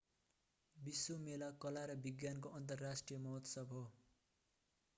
विश्व मेला विश्व प्रदर्शनी वा प्रदर्शनी भनिन्छ कला र विज्ञानको अन्तर्राष्ट्रिय महोत्सव हो।